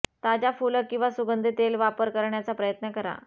ताज्या फुलं किंवा सुगंधी तेल वापर करण्याचा प्रयत्न करा